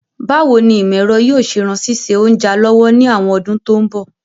Báwoni ìmọ̀ èro yio se ran síse ounja lọ́wọ́ ni àwon odún to n bọ̀